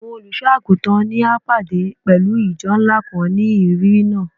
Awọn oluso-aguntan ni a pade pẹlu ijọ nla kan ni iriri naa